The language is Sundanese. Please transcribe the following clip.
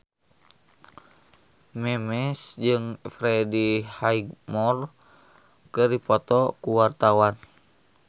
Memes jeung Freddie Highmore keur dipoto ku wartawan